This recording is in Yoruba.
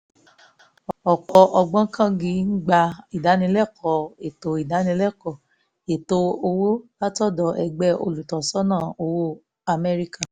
ọ̀pọ̀ ògbóǹkangí ń gbà ìdánilẹ́kọ̀ọ́ ètò ìdánilẹ́kọ̀ọ́ ètò owó látọ̀dọ̀ ẹgbẹ́ olùtọ́sọ́nà owó amẹ́ríkà